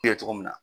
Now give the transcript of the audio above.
Kɛ cogo min na